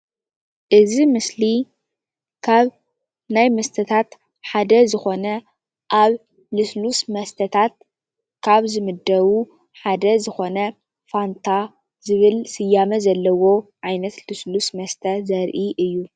እዚ ምስሊ ካብ ናይ መስተታት ሓደ ዝኮነ ኣብ ልስሉስ መስተታት ካብ ዝምደቡ ሓደ ዝኮነ ፋንታ ዝብል ስያመ ዘለዎ ዓይነት ልስሉስ መስተ ዘርኢ እዩ::